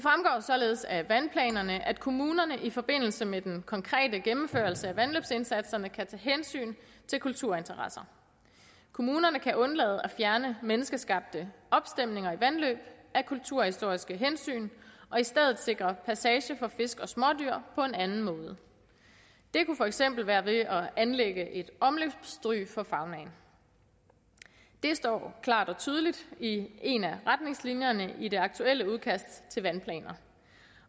således af vandplanerne at kommunerne i forbindelse med den konkrete gennemførelse af vandløbsindsatserne kan tage hensyn til kulturinteresser kommunerne kan undlade at fjerne menneskeskabte opstemninger i vandløb af kulturhistoriske hensyn og i stedet sikre passage for fisk og smådyr på en anden måde det kunne for eksempel være ved at anlægge et omløbsstryg for faunaen det står klart og tydeligt i en af retningslinjerne i det aktuelle udkast til vandplaner